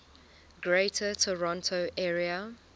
greater toronto area